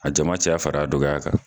A jama caya fara a dɔgɔya kan